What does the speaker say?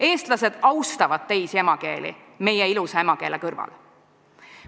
Eestlased austavad teisi emakeeli meie ilusa emakeele kõrval.